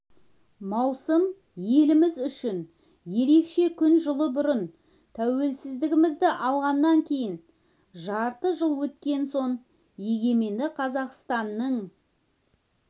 маусым еліміз үшін ерекше күн жыл бұрын тәуелсіздігімізді алғаннан кейін жарты жыл өткен соң егеменді қазақстанның